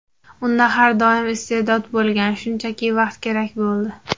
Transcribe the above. Unda har doim iste’dod bo‘lgan, shunchaki vaqt kerak bo‘ldi.